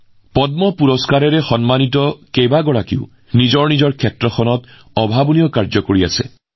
এই পদ্ম বঁটা প্ৰাপকসকলৰ অধিকাংশই নিজ নিজ ক্ষেত্ৰত অতি অনন্য কাম কৰি আছে